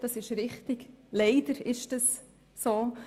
Das ist richtig, dem ist leider so.